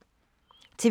TV 2